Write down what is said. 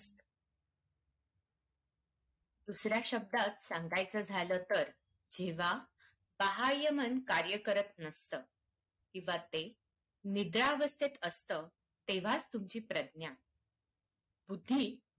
दुसऱ्या शब्दात सांगायचं झालं तर जेव्हा बाहय मन कार्य करत नसतं किंवा ते निद्रावस्थेत असतं तेव्हाच तुमची प्रज्ञा बुद्धी